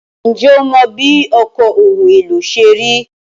Ǹjẹ́ o mọ bí ọkọ̀ ohun èlò ṣe rí?